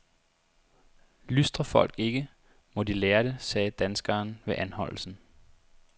Lystrer folk ikke, må de lære det, sagde danskeren ved anholdelsen.